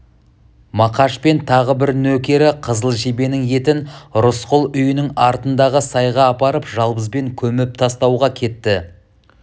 мақаш пен тағы бір нөкері қызыл жебенің етін рысқұл үйінің артындағы сайға апарып жалбызбен көміп тастауға кетті